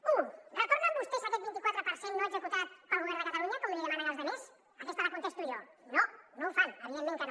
u retornen vostès aquest vint i quatre per cent no executat pel govern de catalunya com demanen als altres aquesta la contesto jo no no ho fan evidentment que no